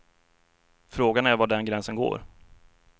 Frågan är var den gränsen går?